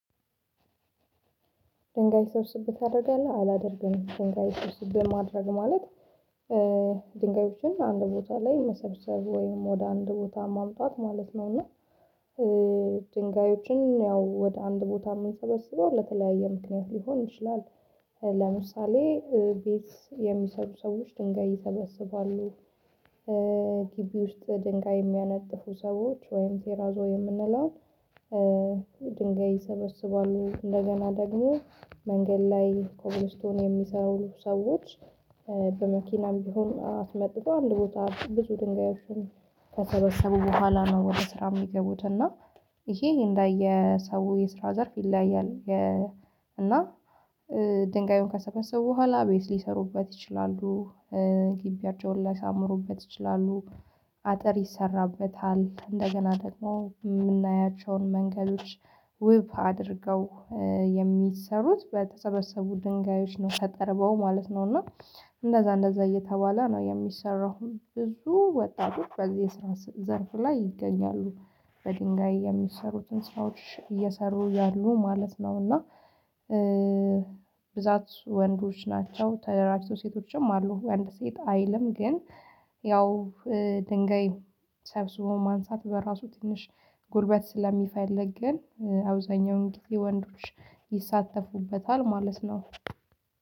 ድንጋይ ስብስብ ታደርጋለህ አላደርግም ድንጋይ ስብስብ ማድረግ ማለት ድንጋዮችን አንድ ቦታ ላይ መሰብሰብ ወይም ወደ አንድ ቦታ ማምጣት ማለት ነው። እና ድንጋዮችን ያው ወደ አንድ ቦታ የምሰበስበው ለተለያየ ምክንያት ሊሆን ይችላል። ለምሳሌ ቤት የሚሰሩ ሰዎች ድንጋይ ይሰበስባሉ። ግቢ ውስጥ ድንጋይ የሚያነጥፉ ሰዎች ወይም ቴራዞ የምንለውን ድንጋይ ይሰበስባሉ እንደገና ደግሞ መንገድ ላይ ኮብልስቶን የሚሰሩ ሰዎች። በመኪናም ቢሆን አስመጥቶ አንድ ቦታ ብዙ ድንጋዮችን ከተሰበሰቡ በኋላ ነው ወደ ስራ የሚገቡት። እና ይሄ እንደየ ሰው የስራ ዘርፍ ይለያያል። እና ድንጋዩን ከሰበሰቡ በኋላ ቤት ሊሰሩበት ይችላሉ። ግቢአቸውን ላይሳምሩበት ይችላሉ። አጠር ይሰራበታል እንደገና ደግሞ የምናያቸውን መንገዶች ውብ አድርገው የሚሰሩት በተሰበስቡ ድንጋዮች ነው። ተጠርበው ማለት ነው እና እንደዛ እንደዛ እየተባለ ነው የሚሰራው። ብዙ ወጣቶች በዚህ ዘርፍ ላይ ይገኛሉ። በድንጋይ የሚሰሩትን ሰዎች እየሰሩ ያሉ ማለት ነው። እና ብዛት ወንዶች ናቸው ተደራጅተው ሴቶችም አሉ ወይ አንድ ሴት አይልም? ግን ያው ድንጋይ ሰብስቦ ማንሳት በራሱ ትንሽ ጉልበት ስለሚፈልግ ግን አብዛኛው እንግዲህ ወንዶች ይሳተፉበታል ማለት ነው።